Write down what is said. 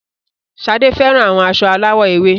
Sade fẹran awọn aṣọ alawọ ewe